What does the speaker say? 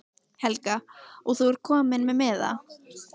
Helga: Og þú ert kominn með miða?